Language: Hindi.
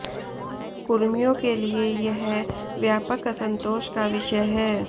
कुर्मियों के लिए यह व्यापक असंतोष का विषय है